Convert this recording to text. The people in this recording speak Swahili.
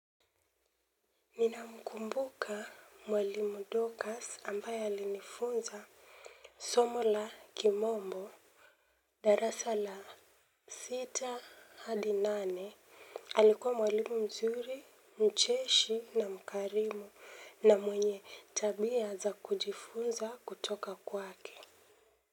Ninamkumbuka mwalimu dorcas ambaye alinifunza somo la kimombo. Darasa la sita hadi nane alikuwa mwalimu mzuri mcheshi na mkarimu na mwenye tabia za kujifunza kutoka kwake.